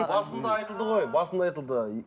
басында айтылды ғой басында айтылды